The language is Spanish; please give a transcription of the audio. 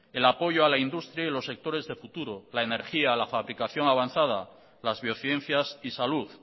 el apoyo a la industria y los sectores de futuro la energía la fabricación avanzada las biociencias y salud